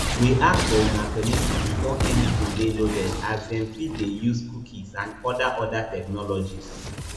we ask for una permission before anytin dey loaded as dem fit dey use cookies and oda oda technologies